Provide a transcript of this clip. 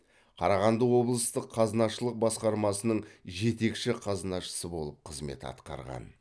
қарағанды облыстық қазынашылық басқармасының жетекші қазынашысы болып қызмет атқарған